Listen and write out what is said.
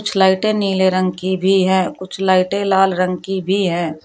कुछ लाइटें नीले रंग की भी है कुछ लाइटें लाल रंग की भी हैं।